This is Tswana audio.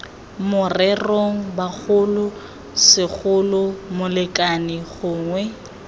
morerong bogolo segolo molekane gongwe